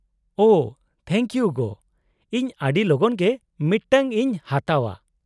-ᱳᱷᱚ thank you ᱜᱳ, ᱤᱧ ᱟᱹᱰᱤ ᱞᱚᱜᱚᱱ ᱜᱮ ᱢᱤᱫᱴᱟᱝ ᱤᱧ ᱦᱟᱛᱟᱣᱼᱟ ᱾